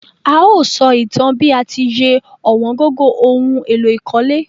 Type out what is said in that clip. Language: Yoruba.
A o só ìtan bi a ti ye ọ̀wóngógó oun éló ìkólé